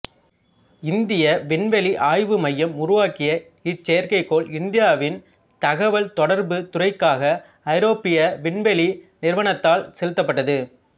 இந்திய விண்வெளி ஆய்வு மையம் உருவாக்கிய இச்செயற்கைக்கோள் இந்தியாவின் தகவல் தொடர்புத் துறைக்காக ஐரோப்பிய விண்வெளி நிறுவனத்தால் செலுத்தப்பட்டது